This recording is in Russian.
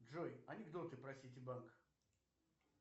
джой анекдоты про ситибанк